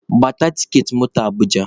Gbata tiketi moto Abụja!